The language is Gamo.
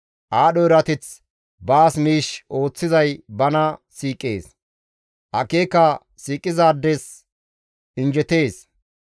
Aadho erateth baas miish ooththizay bana siiqees; akeeka siiqizaades injjetees.